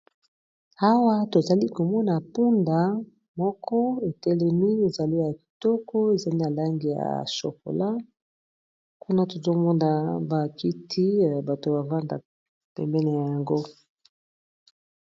Awa tozali komona mpunda moko etelemi ezale ya kitoko, ezali na langi ya chokola, kuna tozomonda ba kiti bato bavandaka pembeni na yango.